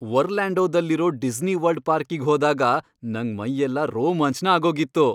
ಒರ್ಲ್ಯಾಂಡೊದಲ್ಲಿರೋ Disney World ಪಾರ್ಕಿಗ್ ಹೋದಾಗ ನಂಗ್ ಮೈಯೆಲ್ಲ ರೋಮಾಂಚ್ನ ಆಗೋಗಿತ್ತು.